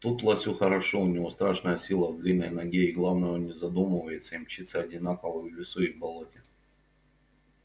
тут лосю хорошо у него страшная сила в длинной ноге и главное он не задумывается и мчится одинаково в лесу и в болоте